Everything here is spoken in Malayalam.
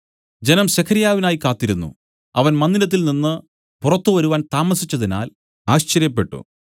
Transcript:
ജനം സെഖര്യാവിനായി കാത്തിരുന്നു അവൻ മന്ദിരത്തിൽ നിന്നു പുറത്തുവരാൻ താമസിച്ചതിനാൽ ആശ്ചര്യപ്പെട്ടു